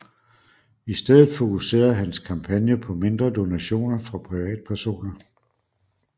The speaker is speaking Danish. I stedet fokuserede hans kampagne på mindre donationer fra privatpersoner